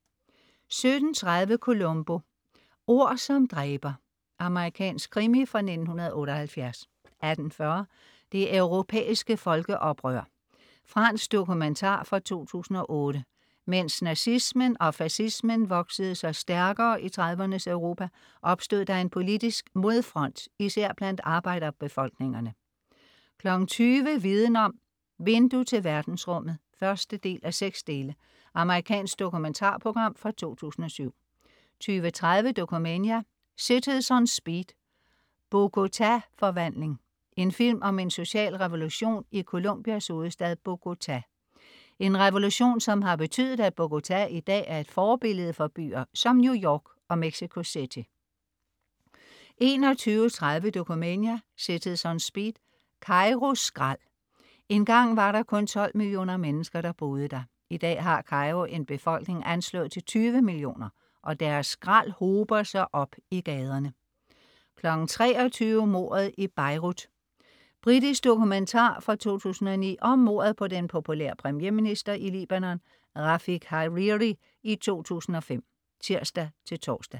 17.30 Columbo: Ord som dræber. Amerikansk krimi fra 1978 18.40 Det europæiske folkeoprør. Fransk dokumentar fra 2008. Mens nazismen og fascismen voksede sig stærkere i 30'ernes Europa, opstod der en politisk modfront, især blandt arbejderbefolkningerne 20.00 Viden Om: Vindue til verdensrummet 1:6. Amerikansk dokumentarprogram fra 2007 20.30 Dokumania: Cities On Speed. Bogota forvandling. En film om en social revolution i Colombias hovedstad Bogotá. En revolution som har betydet, at Bogotá i dag er et forbillede for byer som New York og Mexico City 21.30 Dokumania: Cities On Speed. Kairo skrald. Engang var der kun 12 millioner mennesker der boede der. I dag har Kairo en befolkning anslået til 20 millioner og deres skrald hober sig op i gaderne 23.00 Mordet i Beirut. Britisk dokumentar fra 2009 om mordet på den populære premierminister i Libanon, Rafiq Hariri i 2005 (tirs-tors)